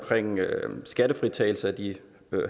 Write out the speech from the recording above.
skattefritagelse af